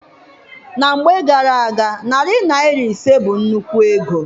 Na mgbe gara-aga, narị naịra ise bụ nnukwu ego.